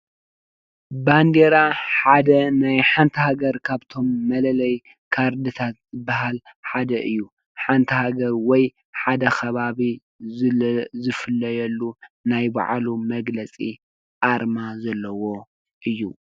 ባንዴራ ሓደ ናይ ሓንቲ ሃገር ካብቶም መለለይ ካርድታት ዝብሃል ሓደ እዩ ። ሓንቲ ሃገር ወይ ሓደ ከባቢ ዝፍለየሉ ናይ ባዕሉ መግለፂ አርማ ዘለዎ አዩ።